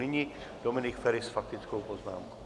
Nyní Dominik Feri s faktickou poznámkou.